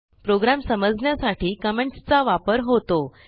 program समजण्यासाठी कॉमेंटसचा वापर होतो